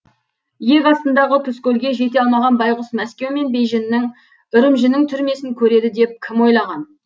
иек астындағы тұзкөлге жете алмаған байғұс мәскеу мен бейжіңнің үрімжінің түрмесін көреді деп кім ойлаған